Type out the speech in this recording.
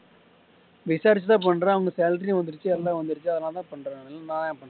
விசாரிச்சு தான் பண்றே அவனுக்கு salary வந்திருச்சு எல்லாம் வந்திருச்சு அதுனால தான் பண்றேன் இல்லைன்னா நான் ஏன் பண்றேன்